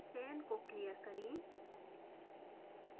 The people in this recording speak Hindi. चयन को clear करें